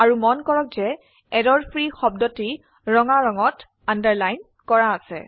আৰু মন কৰক যে এৰৰফ্ৰী শব্দটি ৰঙা ৰঙত আন্ডাৰলাইন কৰা আছে